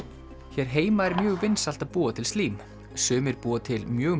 hér heima er mjög vinsælt að búa til slím sumir búa til mjög